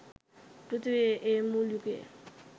පෘථීවියේ ඒ මුල් යුගයේ